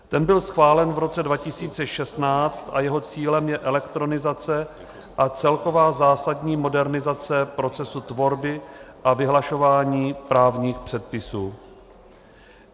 Ten byl schválen v roce 2016 a jeho cílem je elektronizace a celková zásadní modernizace procesu tvorby a vyhlašování právních předpisů.